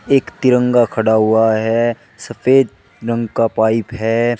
एक तिरंगा खड़ा हुआ है सफेद रंग का पाइप है।